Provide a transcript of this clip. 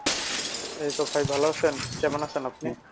এইতো ভাই ভালো আছেন কেমন আছেন আপনি?